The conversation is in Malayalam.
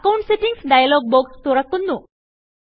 അക്കൌണ്ട്സ് Settingsഡയലോഗ് ബോക്സ് തുറക്കുന്നു